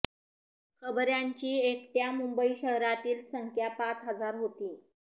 खबऱ्यांची एकट्या मुंबई शहरातील संख्या पाच हजार होती